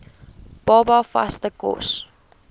baba vaste kos